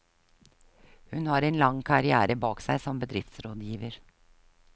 Hun har en lang karrière bak seg som bedriftsrådgiver.